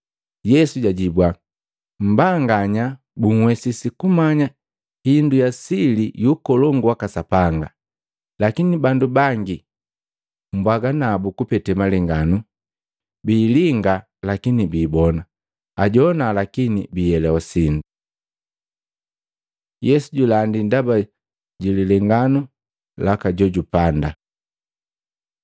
Yesu jajibua, “Mmbanganya bunhwesisi kumanya indu ya sili yu Ukolongu waka Sapanga. Lakini bandu bangi mbwaga nabu kupete malengano, biilinga lakini biibona, ajowana lakini biihelewa sindu.” Yesu julandi ndaba ja lilenganu laka jojupanda Matei 13:18-23; Maluko 4:13-20